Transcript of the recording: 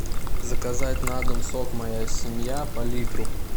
заказать на дом сок моя семья по литру